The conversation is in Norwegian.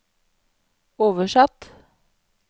oversatt